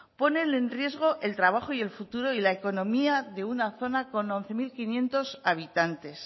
ponen en riesgo el trabajo y el futuro y la economía de una zona con once mil quinientos habitantes